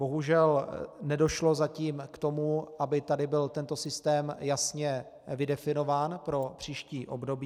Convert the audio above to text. Bohužel nedošlo zatím k tomu, aby tady byl tento systém jasně definován pro příští období.